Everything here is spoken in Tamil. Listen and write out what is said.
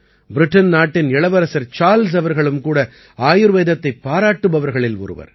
பிரிட்டன் நாட்டின் இளவரசர் சார்ல்ஸ் அவர்களும் கூட ஆயுர்வேதத்தைப் பாராட்டுபவர்களில் ஒருவர்